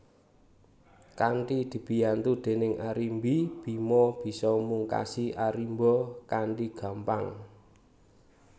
Kanthi dibiyantu déning Arimbi Bima bisa mungkasi Arimba kanthi gampang